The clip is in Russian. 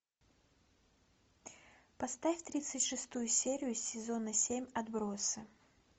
поставь тридцать шестую серию сезона семь отбросы